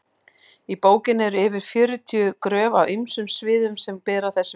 í bókinni eru yfir fjörutíu gröf af ýmsum sviðum sem bera þessu vitni